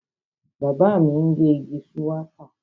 Bàbá mi ń gé igi shuwaka